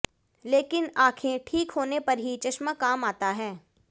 लेकिन आँखें ठीक होने पर ही चश्मा काम आता है